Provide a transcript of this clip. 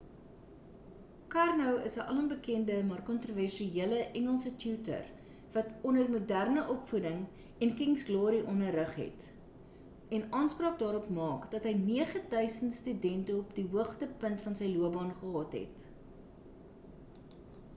karno is 'n alombekende maar kontroversiële engelse tutor wat onder moderne opvoeding en king's glory onderrig het en aanspraak daarop maak dat hy 9 000 studente op die hoogtepunt van sy loopbaan gehad het